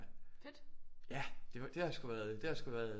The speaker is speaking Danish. Ja det har sgu været det har sgu været